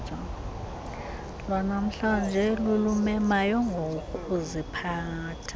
lwanamhlanje lulumemayo ngokuziphatha